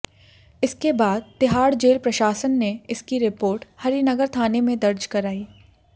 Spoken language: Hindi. इसके बाद तिहाड़ जेल प्रशासन ने इसकी रिपोर्ट हरि नगर थाने में दर्ज कराई